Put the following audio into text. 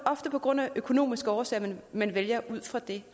ofte på grund af økonomiske årsager man vælger ud fra det